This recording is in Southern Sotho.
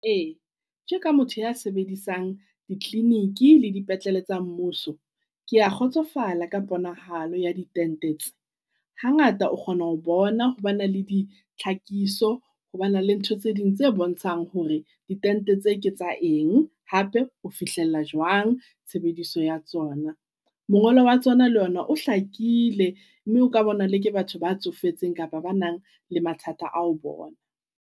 Ee, tje ka motho ya sebedisang di-clinic le dipetlele tsa mmuso kea kgotsofala ka ponahalo ya ditente tse. Hangata o kgona ho bona hore ba na le ditlhakiso, ho ba na le ntho tse ding tse bontshang hore ditente tse ke tsa eng. Hape o fihlella jwang tshebediso ya tsona. Mongolo wa tsona le ona o hlakile mme o ka bonwa le ke batho ba tsofetseng kapa ba nang le mathata a ho bona.